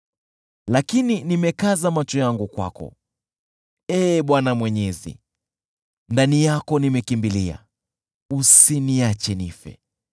Lakini nimekaza macho yangu kwako, Ee Bwana Mwenyezi, ndani yako nimekimbilia, usiniache nife.